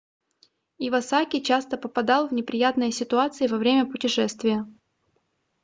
ивасаки часто попадал в неприятные ситуации во время путешествия